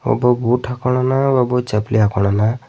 ಒಬ್ಬ ಬೂಟ್ ಹಾಕೊಂಡನ ಒಬ್ಬ ಚಪ್ಪಲಿ ಹಾಕೊಂಡನ.